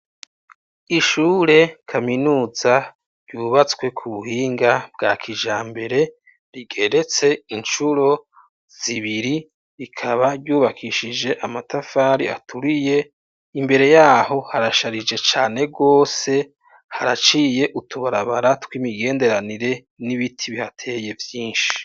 Ishure kaminuza, ryubatswe ku buhinga bwa kijambere, rigeretse incuro zibiri, rikaba ryubakishije amatafari aturiye; imbere y'aho harasharije cane rwose, haraciye utubarabara tw'imigenderanire, n'ibiti bihateye vyinshi.